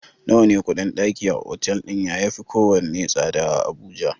Nawa ne kuɗin ɗaki a otal ɗin ya yafi kowane tsada a Abuja?